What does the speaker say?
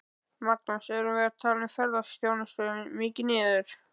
Magnús: Erum við að tala ferðaþjónustuna mikið niður?